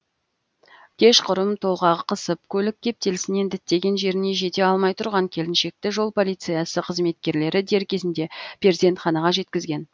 кешқұрым толғағы қысып көлік кептелісінен діттеген жеріне жете алмай тұрған келіншекті жол полициясы қызметкерлері дер кезінде перзентханаға жеткізген